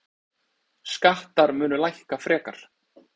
Skattar munu lækka frekar.